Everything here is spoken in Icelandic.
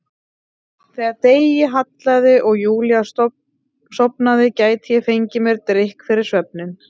Þegar degi hallaði og Júlía sofnaði gæti ég fengið mér drykk fyrir svefninn.